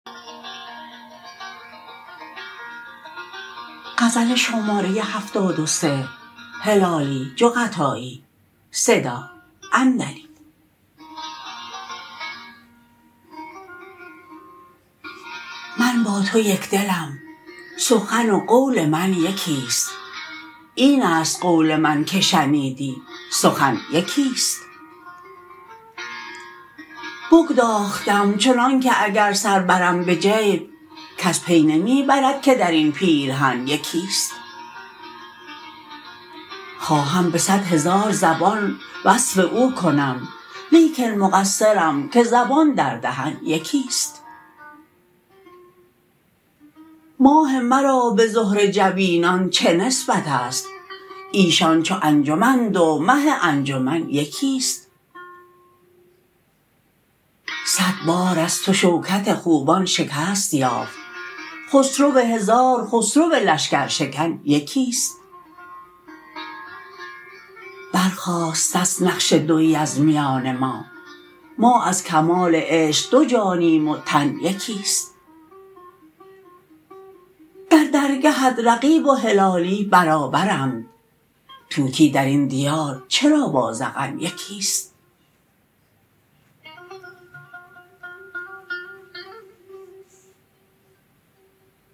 من با تو یکدلم سخن و قول من یکیست اینست قول من که شنیدی سخن یکیست بگداختم چنانکه اگر سر برم بجیب کس پی نمی برد که درین پیرهن یکیست خواهم بصد هزار زبان وصف او کنم لیکن مقصرم که زبان در دهن یکیست ماه مرا بزهره جبینان چه نسبتست ایشان چو انجمند و مه انجمن یکیست صد بار از تو شوکت خوبان شکست یافت خسرو هزار خسرو لشکر شکن یکیست بر خاستست نقش دویی از میان ما ما از کمال عشق دو جانیم و تن یکیست در درگهت رقیب و هلالی برابرند طوطی درین دیار چرا با زغن یکیست